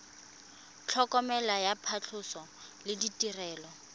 tlhokomelo ya phatlhoso le ditirelo